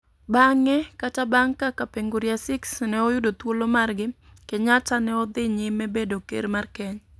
Bange kata bang' ka Kapenguria Six ne oyudo Thuolo margi, Kenyatta ne odhi nyime bedo ker mar Kenya.